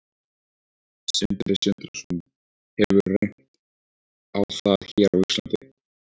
Sindri Sindrason: Hefur reynt á það hér á Íslandi?